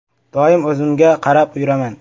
“Doim o‘zimga qarab yuraman.